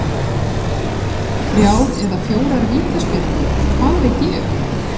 Þrjár eða fjórar vítaspyrnur, hvað veit ég?